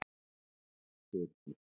Birna